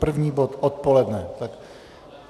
První bod odpoledne.